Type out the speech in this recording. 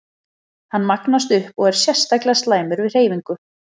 Hann magnast upp og er sérstaklega slæmur við hreyfingu.